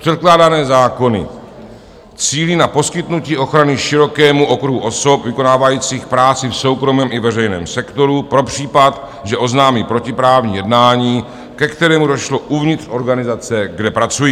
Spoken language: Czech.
Předkládané zákony cílí na poskytnutí ochrany širokému okruhu osob vykonávajících práci v soukromém i veřejném sektoru pro případ, že oznámí protiprávní jednání, ke kterému došlo uvnitř organizace, kde pracují.